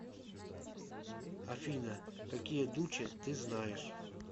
афина какие дуче ты знаешь